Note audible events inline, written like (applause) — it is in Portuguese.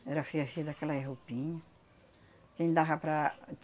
Era (unintelligible) aquelas roupinha. Que não dava para.